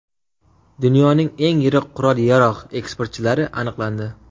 Dunyoning eng yirik qurol-yarog‘ eksportchilari aniqlandi.